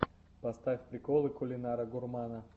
поставь приколы кулинара гурмана